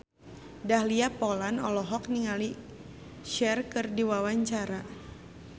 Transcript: Dahlia Poland olohok ningali Cher keur diwawancara